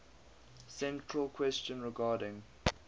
central question regarding